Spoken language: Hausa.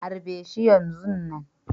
Harbe shi yanzun nan.